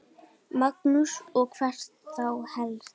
Magnús: Og hvert þá helst?